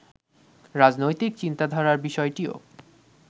রাজনৈতিক চিন্তাধারার বিষয়টিও